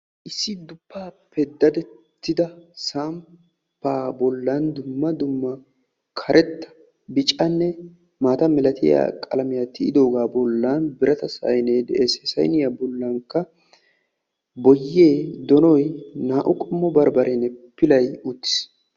issi duppaappe dadettida samppaa bollan dumma dumma karetta bicanne maata milatiya qalamiya tiyidoogaa bollan birata sayine de'es. he sayiniya bollankka boyye, donoy, naa"u qommo barbbareenne pilay uttis.